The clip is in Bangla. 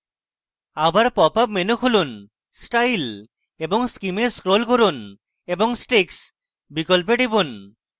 আবার popup menu খুলুন style এবং scheme এ scroll করুন এবং sticks বিকল্পে টিপুন